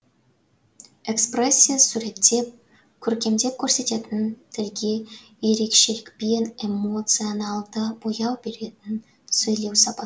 экспрессия суреттеп көркемдеп көрсететін тілге ерекшелікпен эмоционалды бояу беретін сөйлеу сапа